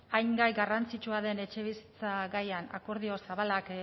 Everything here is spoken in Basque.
hain gai garrantzitsua den etxebizitza gaia akordio zabalak